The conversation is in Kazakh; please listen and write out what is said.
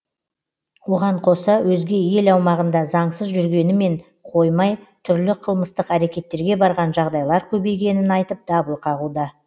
оған қоса өзге ел аумағында заңсыз жүргенімен қоймай түрлі қылмыстық әрекеттерге барған жағдайлар көбейгенін айтып дабыл қағуда